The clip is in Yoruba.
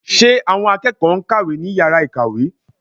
Ṣe àwọn akẹ́kọ̀ọ́ ń kàwé ní yàrá ìkàwé?